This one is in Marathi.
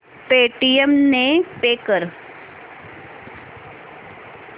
पेटीएम ने पे कर